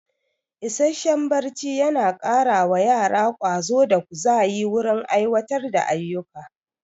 Isasshen barci yana kara wa yara ƙwazo da ƙuzayi wurin aiwatar da ayuka